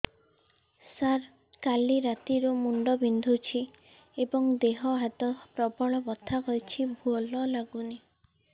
ସାର କାଲି ରାତିଠୁ ମୁଣ୍ଡ ବିନ୍ଧୁଛି ଏବଂ ଦେହ ହାତ ପ୍ରବଳ ବଥା କିଛି ଭଲ ଲାଗୁନି